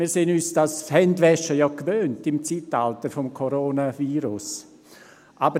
» Wir sind uns dieses Händewaschen im Zeitalter des Coronavirus ja gewohnt.